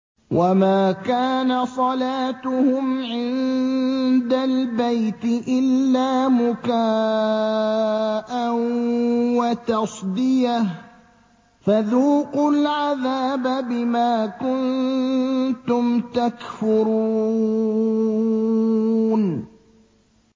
وَمَا كَانَ صَلَاتُهُمْ عِندَ الْبَيْتِ إِلَّا مُكَاءً وَتَصْدِيَةً ۚ فَذُوقُوا الْعَذَابَ بِمَا كُنتُمْ تَكْفُرُونَ